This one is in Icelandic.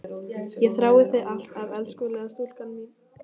Ég þrái þig alt af elskulega stúlkan mín.